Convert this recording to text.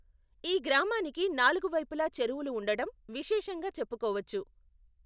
ఈ గ్రామానికి నాలుగు వైపులా చెరువులు ఉండటం విశేషంగా చెప్పుకోవచ్చు.